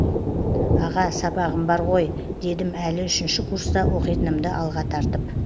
аға сабағым бар ғой дедім әлі үшінші курста оқитынымды алға тартып